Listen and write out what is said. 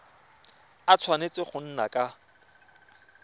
a tshwanetse go nna ka